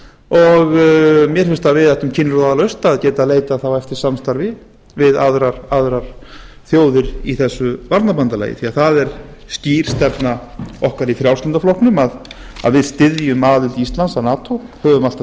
og mér finnst að við ættum kinnroðalaust að geta leitað eftir samstarfi við aðrar þjóðir í þessu varnarbandalagi því að það er skýr stefna okkar í frjálslynda flokknum að við styðjum aðild íslands að nato höfum alltaf